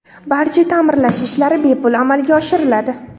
Barcha ta’mirlash ishlari bepul amalga oshiriladi.